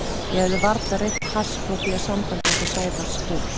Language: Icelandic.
Ég hafði varla reykt hass frá því að samband okkar Sævars hófst.